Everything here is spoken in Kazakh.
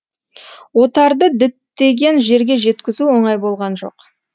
отарды діттеген жерге жеткізу оңай болған жоқ